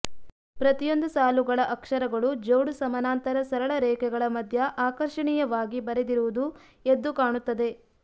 ಪ್ರತಿಯೊಂದು ಸಾಲುಗಳ ಅಕ್ಷರಗಳು ಜೋಡು ಸಮನಾಂತರ ಸರಳ ರೇಖೆಗಳ ಮಧ್ಯ ಆಕರ್ಷಣೀಯವಾಗಿ ಬರೆದಿರುವುದು ಎದ್ದು ಕಾಣುತ್ತದೆ